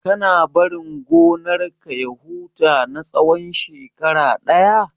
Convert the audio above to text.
Kana barin gonar ka ya huta na tsawan shekara ɗaya?